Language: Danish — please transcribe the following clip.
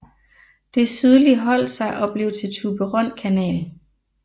Det sydlige holdt sig og blev til Thyborøn Kanal